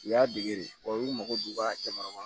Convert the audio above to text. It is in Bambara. U y'a dege de u mago b'u ka jamana kɔnɔ